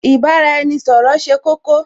Ì bá-ra-ẹni-ṣọ̀rọ̀ ṣe kókó